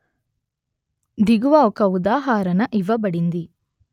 దిగువ ఒక ఉదాహరణ ఇవ్వబడింది